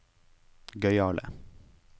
gøyale